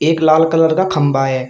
एक लाल कलर का खंबा है।